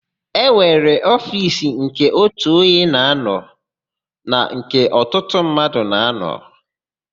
E nwere ofiisi nke ótù onye na-ánọ̀ na nke ọtụtụ mmadụ na-ánọ̀.